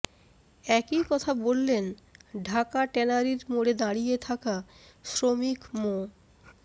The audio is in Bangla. একই কথা বললেন ঢাকা ট্যানারির মোড়ে দাঁড়িয়ে থাকা শ্রমিক মো